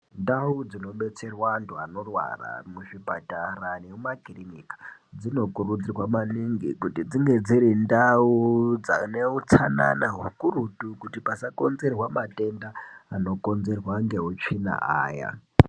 Ndau dzinobetserwa antu anorwara muzvipatara nekumakirinika dzinokurudzirwa maningi kuti dzinge dziri ndau dzine utsanana hukurutu kuti pasakonzerwa matenda anokonzerwa ngehutsvina aya.